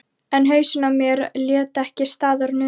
En hausinn á mér lét ekki staðar numið.